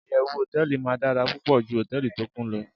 iyewu hoteeli ma dara pupo ju hoteeli to Kun lo